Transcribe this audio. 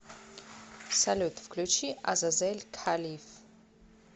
салют включи азазель халиф